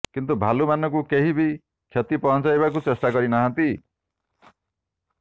କିନ୍ତୁ ଭାଲୁ ମାନଙ୍କୁ କେହି ବି କ୍ଷତି ପହଞ୍ଚାଇବାକୁ ଚେଷ୍ଟା କରି ନାହାନ୍ତି